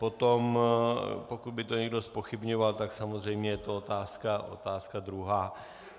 Potom, pokud by to někdo zpochybňoval, tak samozřejmě je to otázka druhá.